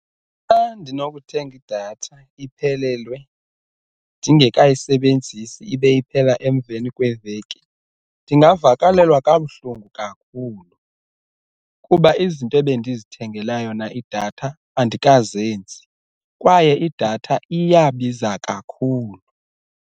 Xa ndinokuthenga idatha iphelelwe ndingekayisebenzisi ibe iphela emveni kweveki ndingavakalelwa kabuhlungu kakhulu kuba izinto ebendizithengela yona idatha andikazenzi kwaye idatha iyabiza kakhulu.